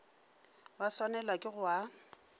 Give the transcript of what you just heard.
ba swanelwago ke go a